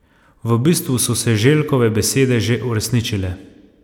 V bistvu so se Željkove besede že uresničile.